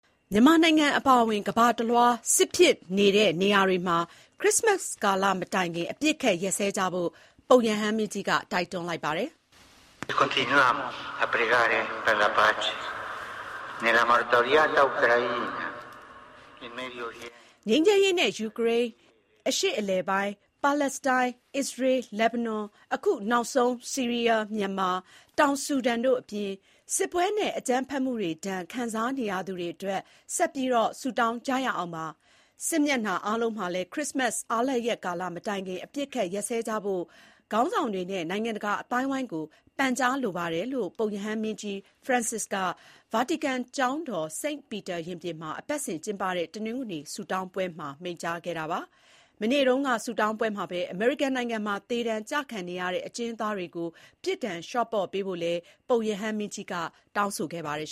မြန်မာနိုင်ငံအပါအဝင် ကမ္ဘာတလွှားက စစ်ဖြစ်နေတဲ့နေရာတွေမှာ ခရစ္စမတ်ကာလမတိုင်ခင် အပစ်အခတ်ရပ်စဲကြဖို့ ပုပ်ရဟန်းမင်းကြီးက တိုက်တွန်းလိုက်ပါတယ်။ "ငြိမ်းချမ်းရေးနဲ့ ယူကရိန်း၊ အရှေ့အလယ်ပိုင်း၊ ပါလက်စတိုင်း၊ အစ္စရေး၊ လက်ဘနွန်၊ အခုနောက်ဆုံး ဆီးရီးယား၊ မြန်မာ၊တောင်ဆူဒန်တို့အပြင် စစ်ပွဲနဲ့ အကြမ်းဖက်မှုတွေဒဏ် ခံစားနေရသူတွေအတွက် ဆက်ပြီးဆုတောင်းကြရအောင်ပါ။စစ်မျက်နှာအားလုံးမှာလည်း ခရစ္စမတ် အားလပ်ရက်ကာလ မတိုင်ခင် အပစ်အခတ်ရပ်စဲကြဖို့ ခေါင်းဆောင်တွေနဲ့နိုင်ငံတကာ အသိုက်အဝန်းကို ပန်ကြားလိုပါတယ်။" လို့ ပုပ်ရဟန်းမင်းကြီး Francis က ဗာတီကန်ကျောင်းတော် St. Peter ရင်ပြင်မှာ အပတ်စဉ်ကျင်းပတဲ့ တနင်္ဂနွေနေ့ ဆုတောင်းပွဲမှာ မိန့်ကြားခဲ့တာပါ။ မနေ့တုန်းက ဆုတောင်းပွဲမှာပဲ အမေရိကန်နိုင်ငံမှာ သေဒဏ်ကျခံနေရတဲ့ အကျဉ်းသားတွေကို ပြစ်ဒဏ်လျှော့ပေါ့ပေးဖို့လည်း ပုပ်ရဟန်းမင်းကြီးကတောင်းဆိုခဲ့ပါတယ်